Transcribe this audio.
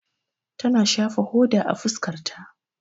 Ta na shafa hoda a fuskar ta.